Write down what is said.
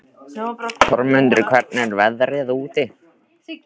Þormundur, hvernig er veðrið úti?